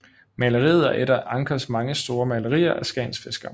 Maleriet er et af Anchers mange store malerier af Skagens fiskere